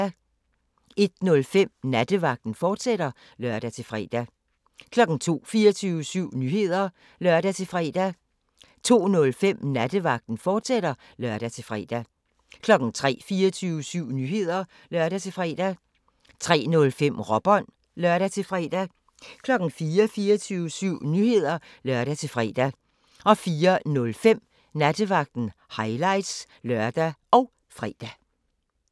01:05: Nattevagten, fortsat (lør-fre) 02:00: 24syv Nyheder (lør-fre) 02:05: Nattevagten, fortsat (lør-fre) 03:00: 24syv Nyheder (lør-fre) 03:05: Råbånd (lør-fre) 04:00: 24syv Nyheder (lør-fre) 04:05: Nattevagten – highlights (lør og fre)